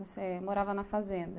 Você morava na fazenda.